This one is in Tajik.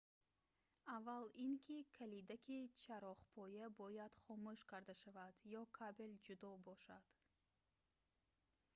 аввал ин ки калидаки чароғпоя бояд хомӯш карда шавад ё кабел ҷудо бошад